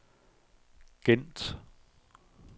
Gent